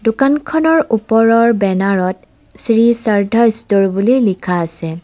দোকানখনৰ ওপৰৰ বেনাৰত শ্ৰী সৰধা ষ্ট'ৰ বুলি লিখা আছে।